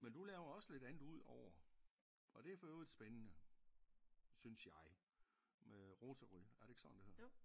Men du laver også lidt andet udover og det for i øvrigt spændende synes jeg med Rotary er det ikke sådan det hedder?